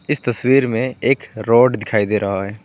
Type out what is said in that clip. इस तस्वीर में एक रोड दिखाई दे रहा है।